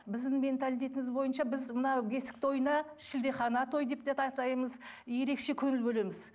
біздің менталитетіміз бойынша біз мына бесік тойына шілдехана той деп атаймыз ерекше көңіл бөлеміз